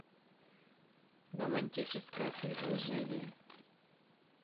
романтическое предложение